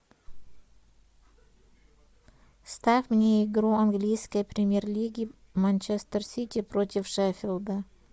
ставь мне игру английской премьер лиги манчестер сити против шефилда